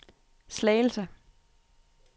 Slagelse